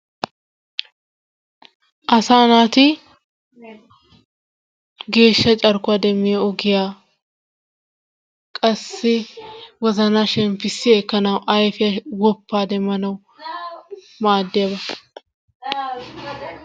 Asaa naati geeshsha carkuwa demmiyo ogiya qassi wozanaa shemppissi ekkanawu ayfee woppaa demmanawu maaddiyaba.